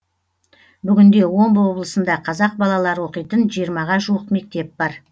бүгінде омбы облысында қазақ балалары оқитын жиырмаға жуық мектеп бар